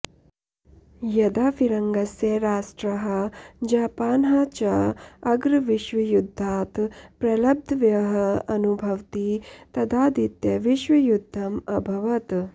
यदा फिरङ्गस्य राष्ट्राः जापानः च अग्रविश्वयुद्धात् प्रलब्धव्यः अनुभवति तदा द्वितीयविश्वयुद्धम् अभवत्